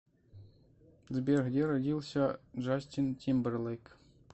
сбер где родился джастин тимберлейк